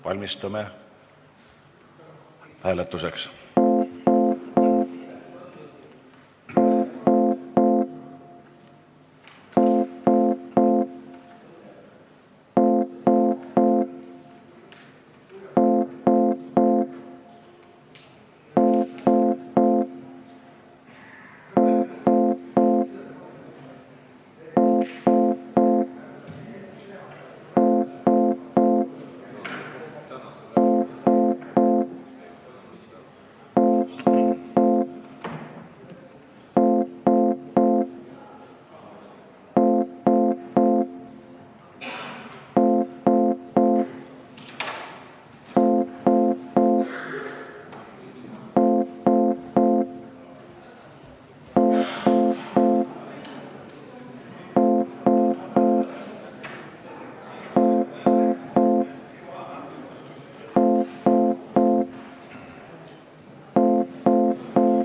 Valmistume hääletuseks.